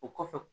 O kɔfɛ